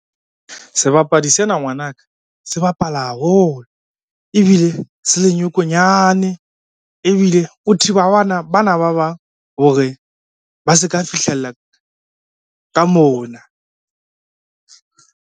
Sebapadi sena ngwana ka, se bapala haholo ebile se le nyokonyane, ebile o thiba bana ba bang hore ba se ka fihlella ka mona.